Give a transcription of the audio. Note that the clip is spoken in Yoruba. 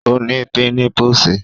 Ọ́ ní pímipùsì